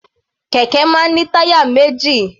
Kẹ̀kẹ́ máa ń ní táyà méjì.